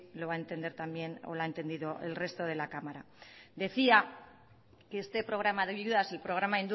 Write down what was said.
lo va a entender también o lo ha entendido el resto de la cámara decía que este programa de ayudas el programa